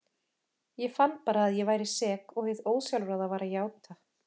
Ég fann bara að ég væri sek og hið ósjálfráða var að játa.